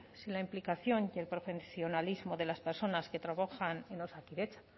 sin la implicación y el profesionalismo de las personas que trabajan en osakidetza